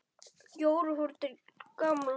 Jóra fór til Gamla.